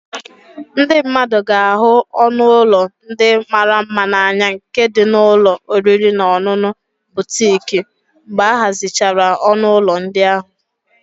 Ndị mmadụ ga-ahụ ọnụ ụlọ ndị mara mma n'anya nke dị n'ụlọ oriri na ọṅụṅụ butiik mgbe ahazichara ọnụ ụlọ ndị ahụ